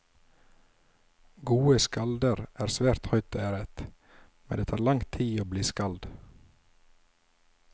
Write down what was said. Gode skalder er svært høyt æret, men det tar lang tid å bli skald.